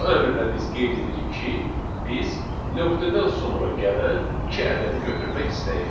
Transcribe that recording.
Bu əmrlə biz qeyd edirik ki, biz nöqtədən sonra gələn iki ədədi götürmək istəyirik.